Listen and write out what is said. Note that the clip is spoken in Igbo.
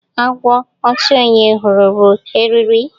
Agwo otu onye hụrụ bụ eriri